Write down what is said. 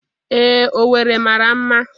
Ee, Owere mara mma